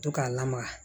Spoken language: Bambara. To k'a lamaga